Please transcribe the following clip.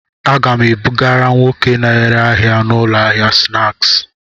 A ga m ebugara nwoke na-ere ahịa n'ụlọ ahịa snaaskị.